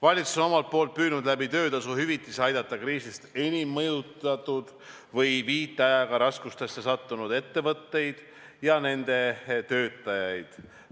Valitsus on omalt poolt püüdnud töötasu hüvitise kaudu aidata kriisist enim mõjutatud või viitajaga raskustesse sattunud ettevõtteid ja nende töötajaid.